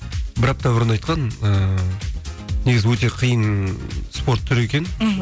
бір апта бұрын айтқан ыыы негізі өте қиын спорт түрі екен мхм